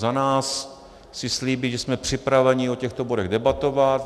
Za nás chci slíbit, že jsme připraveni o těchto bodech debatovat.